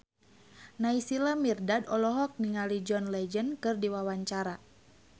Naysila Mirdad olohok ningali John Legend keur diwawancara